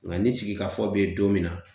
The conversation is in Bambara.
Nga ni sigi ka fɔ be yen don min na